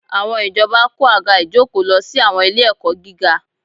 Àwọn ìjọba kó àga ìjókòó lọ sí àwọn ilé-ẹ̀kọ́ gíga